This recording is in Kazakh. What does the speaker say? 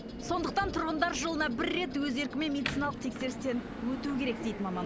сондықтан тұрғындар жылына бір рет өз еркімен медициналық тексерістен өтуі керек дейді маман